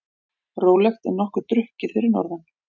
Rólegt en nokkuð drukkið fyrir norðan